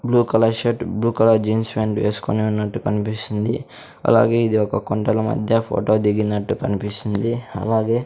blue colour shirt blue colour jeans pant వేసుకొని ఉన్నట్టు కన్పిస్తుంది అలాగే ఇది ఒక కొండల మధ్య ఫోటో దిగినట్టు కనిపిస్తుంది అలాగే--